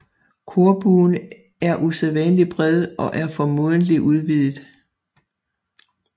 Korbuen er usædvanlig bred og er formodentlig udvidet